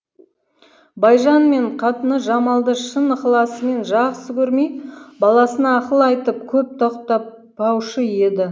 байжан мен қатыны жамалды шын ықыласымен жақсы көрмей баласына ақыл айтып көп тоқтатпаушы еді